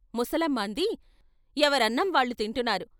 ముసలమ్మ అంది "ఎవరన్నం వాళ్ళు తింటున్నారు.